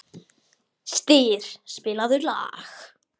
Styr, spilaðu lag.